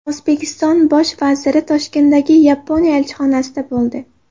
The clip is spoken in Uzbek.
O‘zbekiston Bosh vaziri Toshkentdagi Yaponiya elchixonasida bo‘ldi.